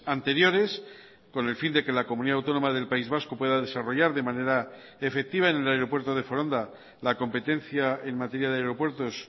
anteriores con el fin de que la comunidad autónoma del país vasco pueda desarrollar de manera efectiva en el aeropuerto de foronda la competencia en materia de aeropuertos